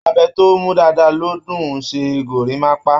Abẹ tó mú dáadáa ló dùn-ún ṣe gorímápá